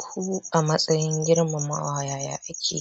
Ku a matsayin girmamawa yaya kake